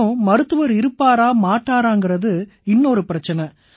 மேலும் மருத்துவர் இருப்பாரா மாட்டாராங்கறது இன்னொரு பிரச்சனை